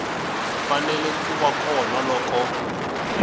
fanele ku va kona loko